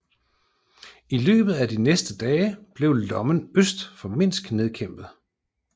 I løbet af de næste dage blev lommen øst for Minsk nedkæmpet